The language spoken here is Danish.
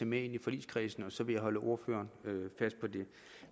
med ind i forligskredsen og så vil jeg holde ordføreren fast på det